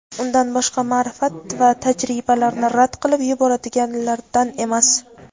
undan boshqa ma’rifat va tajribalarni rad qilib yuboradiganlardan emas.